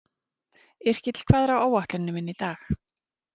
Yrkill, hvað er á áætluninni minni í dag?